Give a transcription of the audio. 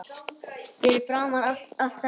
Fyrir framan allt þetta fólk.